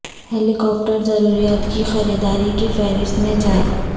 ہیلی copter ضروریات کی خریداری کی فہرست میں جائیں